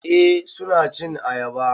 Eh suna cin ayaba